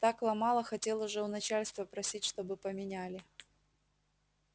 так ломало хотел уже у начальства просить чтобы поменяли